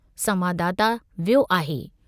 संवाददाता वियो आहे।